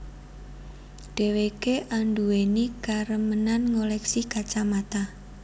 Dheweké anduweni karemenan ngoleksi kacamata